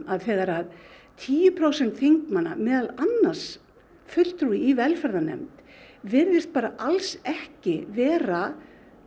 að þegar að tíu prósent þingmanna meðal annars fulltrúi í velferðarnefnd virðist bara alls ekki vera